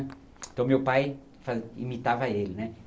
Então, meu pai fa imitava ele né.